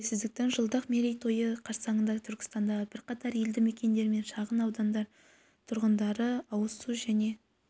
тәуелсіздіктің жылдық мерей тойы қарсаңында түркістандағы бірқатар елді мекендер мен шағын аудан тұрғындары ауыз су және